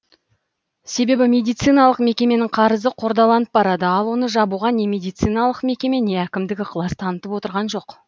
себебі медициналық мекеменің қарызы қордаланып барады ал оны жабуға не медициналық мекеме не әкімдік ықылас танытып отырған жоқ